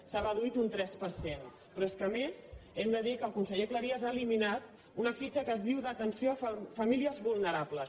s’ha reduït un tres per cent però és que a més hem de dir que el conseller cleries ha eliminat una fitxa que es diu d’atenció a famílies vulnerables